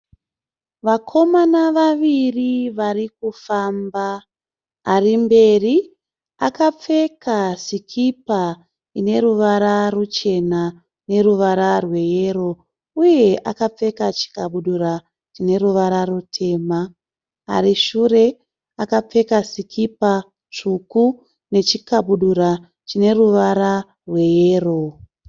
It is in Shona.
Vakomana vaviri vari kufamba. Arimberi akapfeka sikipa ine ruvara ruchena neruvara rweyero uye akapfeka chikabudura chine ruvara rutema. Arishure akapfeka sikipa tsvuku nechikabudura chine ruvara rweyero.